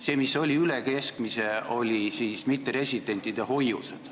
See, mis oli üle keskmise, olid mitteresidentide hoiused.